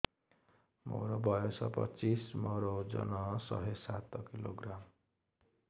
ମୋର ବୟସ ପଚିଶି ମୋର ଓଜନ ଶହେ ସାତ କିଲୋଗ୍ରାମ